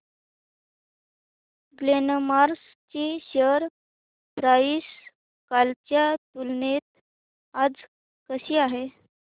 Glenmark ची share price कालच्या तुलनेत आज कशी आहे